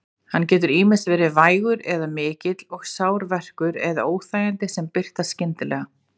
Hann getur ýmist verið vægur eða mikill og sár verkur eða óþægindi sem birtast skyndilega.